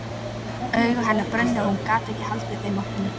Augu hennar brunnu og hún gat ekki haldið þeim opnum.